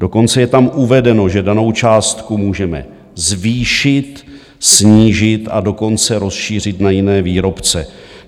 Dokonce je tam uvedeno, že danou částku můžeme zvýšit, snížit, a dokonce rozšířit na jiné výrobce.